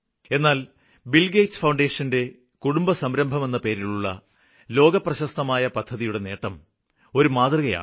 എന്നാല് ബില്ഗേറ്റ് ഫൌണ്ടേഷന്റെ കുടുംബസംരഭമെന്ന പേരിലുള്ള ലോകപ്രശസ്തമായ പദ്ധതിയുടെ നേട്ടം ഒരു മാതൃകയാണ്